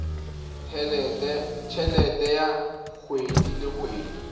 helete ya kgwedi le kgwedi